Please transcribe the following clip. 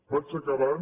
vaig acabant